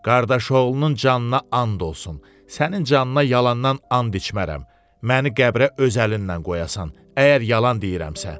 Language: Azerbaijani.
Qardaşoğlunun canına and olsun, sənin canına yalandan and içmərəm, məni qəbrə öz əlinlə qoyasan, əgər yalan deyirəmsə.